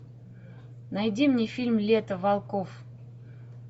найди мне фильм лето волков